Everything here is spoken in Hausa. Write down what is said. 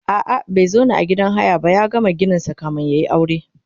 a'a bai zauna a gidan haya ba ya gama gininsa kamin yayi aure